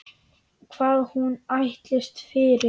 Hvað hún ætlist fyrir.